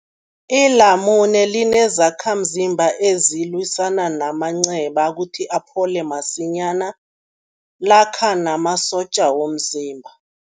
Ilamune linezakhamzimba ezilwisana namanceba kuthi aphole masinyana, lakha namasotja womzimba.